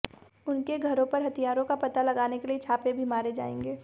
उनके घरों पर हथियारों का पता लगाने के लिए छापे भी मारे जाएंगे